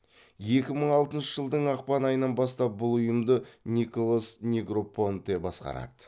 екі мың алтыншы жылдың ақпан айынан бастап бұл ұйымды николас негропонте басқарады